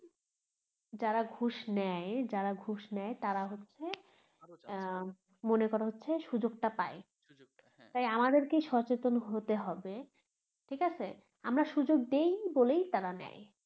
যারা ঘুষ নেয় যারা ঘুষ নেয় তারা হচ্ছে আহ মনে করো হচ্ছে সুযোগ টা পায় তাই আমাদেরকে সচেতন হতে হবে ঠিকাছে আমরা সুযোগ দেই বলেই তারা নেয়